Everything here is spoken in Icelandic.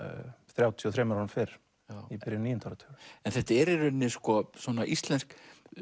þrjátíu og þrem árum fyrr í byrjun níunda áratugarins en þetta er í rauninni íslenskt